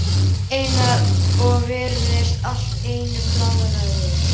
Einar og virtist allt í einu bálreiður.